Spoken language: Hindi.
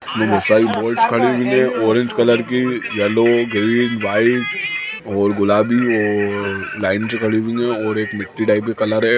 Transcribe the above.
बहोत सारी बोट्स खड़ी हुई है ओरेंज कलर का येलो ग्रीन वाइट और गुलाबी और लाइन से खडी हुई है और एक मिट्टी टाईप का कलर हैं।